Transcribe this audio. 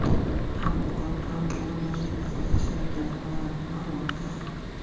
ham o‘qib ham o‘rindoshlik asosida ishlayotgan talabalarga ham amal qiladi.